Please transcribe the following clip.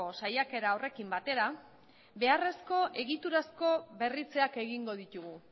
saiakera horrekin batera beharrezko egiturazko berritzeak egingo ditugu